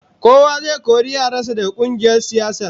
Kowa zai kori yaran sa daga kungiyar siyasar